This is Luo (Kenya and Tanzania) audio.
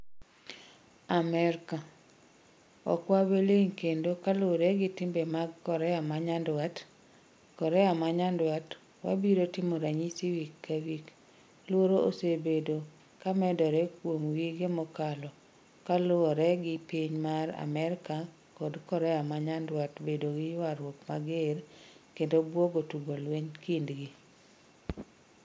Amerika: Okwabiling kendo kaluore gi timbe mag Korea manyandwat. Korea manyandwat: Wabiro timo ranysi wik kawik. Luoro osebedo kamedore kuom wige mokalo kaluore gi piny mar Amerika kod Korea manyandwat bedo gii ywaruok mager kendo buogo tugo lweny kindgi.